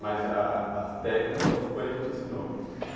Mas a a técnica foi foi ele quem te ensinou?